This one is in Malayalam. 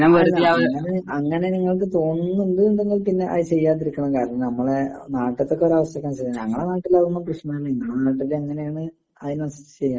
ആ അങ്ങനെ നിങ്ങക്ക് തോന്നുന്നുണ്ടങ്കിൽ അതുപിന്നെ ചെയ്യാതിരിക്കുന്നതാവും കാരണം നമ്മുടെ നാട്ടിത്തെക്കെ ഒരവസ്ഥക്ക് അനുസരിച്ചു. ഞങ്ങടെ നാട്ടിലൊന്നും അങ്ങനത്തെ പ്രേശ്നമൊന്നുമില്ല അവിടെ എങ്ങനെയാണ് അതിനനുസരിച്ചു ചെയ്യണം.